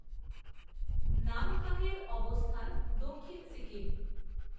নামথাংয়ের অবস্থান দক্ষিণ সিকিম